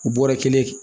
U bɔra kelen